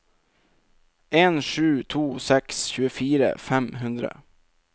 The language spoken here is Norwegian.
en sju to seks tjuefire fem hundre